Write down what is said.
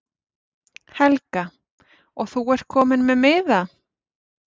Helga: Og þú ert kominn með miða?